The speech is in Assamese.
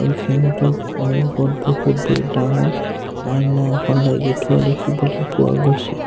সিহঁতৰ সন্মুখত বহুতেই ডাঙৰ আইনা এখন লাগি থোৱা দেখিবলৈ পোৱা গৈছে।